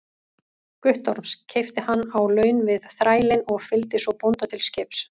Guttorms, keypti hann á laun við þrælinn og fylgdi svo bónda til skips.